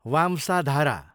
Vamsadhara